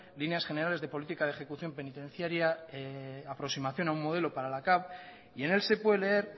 líneas generales de política de ejecución penitenciaria aproximación a un modelo para la cav y en el se puede leer